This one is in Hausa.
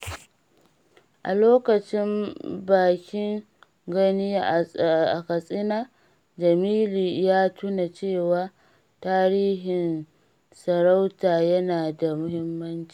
A lokacin bikin Gani a Katsina, Jamilu ya tuna cewa tarihin sarauta yana da muhimmanci.